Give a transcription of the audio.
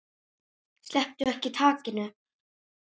Slepptu ekki takinu.